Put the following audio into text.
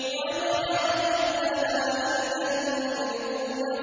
وَمَا أَضَلَّنَا إِلَّا الْمُجْرِمُونَ